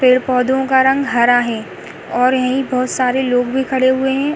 पेड़-पौधों का रंग हरा है और यहीं बोहोत सारे लोग भी खड़े हुए हैं।